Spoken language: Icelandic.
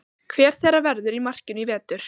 Hver þeirra verður í markinu í vetur?